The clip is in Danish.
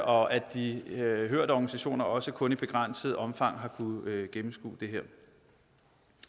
og at de hørte organisationer også kun i begrænset omfang har kunnet gennemskue